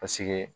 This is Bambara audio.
Paseke